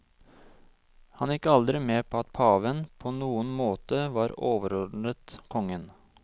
Han gikk aldri med på at paven på noen måte var overordnet kongen.